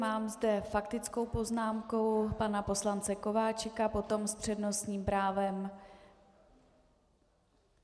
Mám zde faktickou poznámku pana poslance Kováčika, potom s přednostním právem....